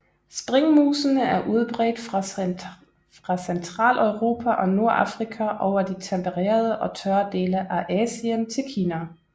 Springmusene er udbredt fra Centraleuropa og Nordafrika over de tempererede og tørre dele af Asien til Kina